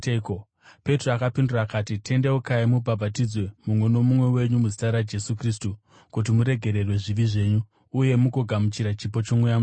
Petro akapindura akati, “Tendeukai mubhabhatidzwe, mumwe nomumwe wenyu, muzita raJesu Kristu kuti muregererwe zvivi zvenyu, uye mugogamuchira chipo choMweya Mutsvene.